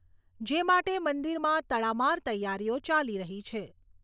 જે માટે મંદિરમાં તડમાર તૈયારીઓ ચાલી રહી છે.